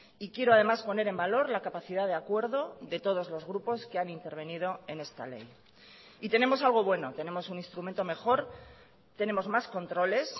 y quiero además poner en valor la capacidad de acuerdo de todos los grupos que han intervenido en esta ley y tenemos algo bueno tenemos un instrumento mejor tenemos más controles